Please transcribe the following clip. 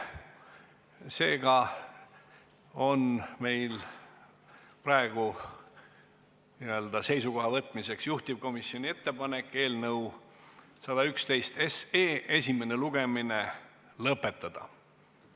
Seega on meil praegu n-ö seisukoha võtmiseks juhtivkomisjoni ettepanek eelnõu 111 esimene lugemine lõpetada.